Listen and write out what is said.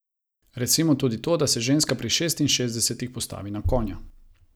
Recimo tudi to, da se ženska pri šestinšestdesetih postavi na konja.